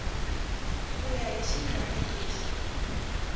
ku ya hi xiyenge lexi